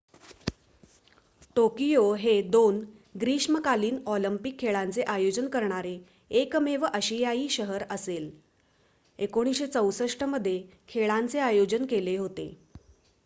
Tokyo हे 2 ग्रीष्मकालीन Olympic खेळांचे आयोजन करणारे एकमेव आशियाई शहर असेल 1964 मध्ये खेळांचे आयोजन केले होते